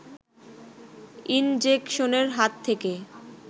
ইনজেকশনের হাত থেকে